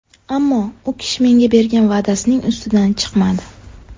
Ammo u kishi menga bergan va’dasining ustidan chiqmadi.